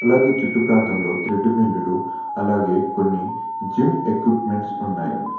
అలాగే చుట్టు ప్రాంతంలో థ్రెడ్ మిల్లులు అలాగే కొన్ని జిమ్ ఎక్విప్మెంట్స్ ఉన్నాయి.